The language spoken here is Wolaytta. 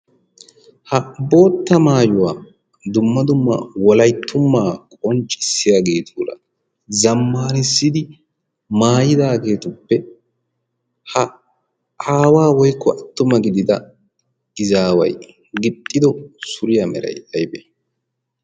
ha bootta maayuwaa dumma dumma wolayttummaa qonccissiyaageetuura zammaanissidi maayidaageetuppe ha aawaa woykko attuma gidida gizaawai gixxido suriyaa meray aybe?